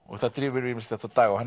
það drífur ýmislegt á daga og hann